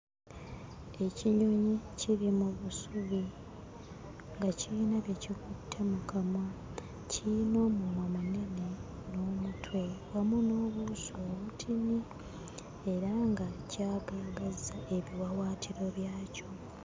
Ekinyonyi kiri mu busubi nga kirina bye kikutte mu kamwa. Kirina omumwa munene n'omutwe wamu n'obuuso obutini era nga kyagaagazza ebiwaawaatiro byakyo.